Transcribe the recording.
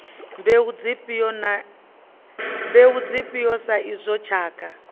mbeu dzifhio sa izwo tshakha